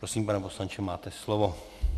Prosím, pane poslanče, máte slovo.